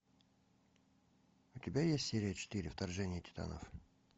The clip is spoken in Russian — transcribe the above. у тебя есть серия четыре вторжение титанов